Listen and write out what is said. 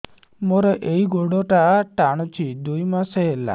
ମୋର ଏଇ ଗୋଡ଼ଟା ଟାଣୁଛି ଦୁଇ ମାସ ହେଲା